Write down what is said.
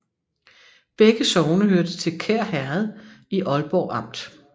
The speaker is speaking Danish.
Begge sogne hørte til Kær Herred i Aalborg Amt